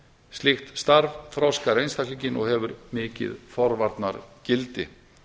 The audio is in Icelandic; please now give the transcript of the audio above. slíkt starf þroskar einstaklinginn og hefur mikið forvarnargildi